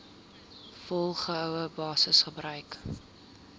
volgehoue basis gebruik